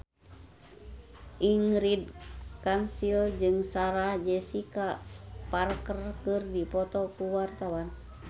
Ingrid Kansil jeung Sarah Jessica Parker keur dipoto ku wartawan